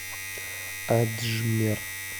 аджмер